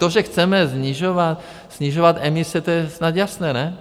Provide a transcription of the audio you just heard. To, že chceme snižovat emise, to je snad jasné, ne?